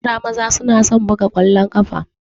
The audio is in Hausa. Yara maza na son buga ƙwallon ƙafa.